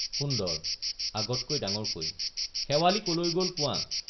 সুন্দৰ— আগতকৈ ডাঙৰকৈ শেৱালি কলৈ গল কোৱা!